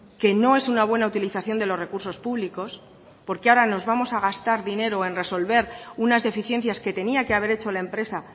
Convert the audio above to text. que no es una buena utilización de los recursos públicos porque ahora nos vamos a gastar dinero en resolver unas deficiencias que tenía que haber hecho la empresa